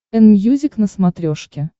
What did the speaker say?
энмьюзик на смотрешке